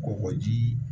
Kɔgɔji